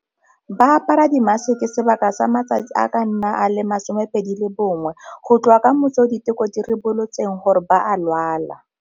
Ba apara dimaseke sebaka sa matsatsi a ka nna a le 21, go tloga ka motsi o diteko di ribolotseng gore ba a lwala.